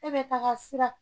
E be taga fura